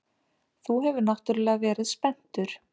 Þú hefur náttúrlega verið spenntur.